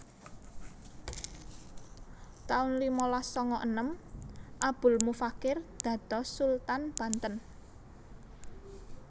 taun limalas sanga enem Abul Mufakir dados Sultan Banten